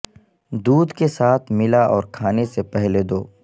دودھ کے ساتھ ملا اور کھانے سے پہلے دو